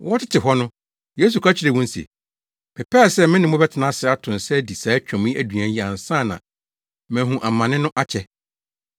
Wɔtete hɔ no, Yesu ka kyerɛɛ wɔn se, “Mepɛɛ sɛ me ne mo bɛtena ase, ato nsa adi saa Twam aduan yi, ansa na mahu amane no akyɛ.